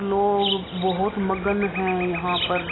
लोग बहुत मगन हैं यहाँ पर।